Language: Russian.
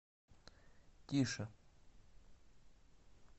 тише